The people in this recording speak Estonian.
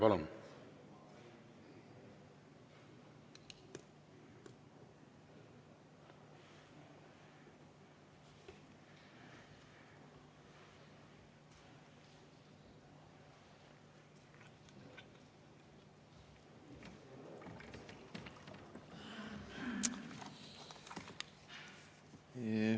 Palun!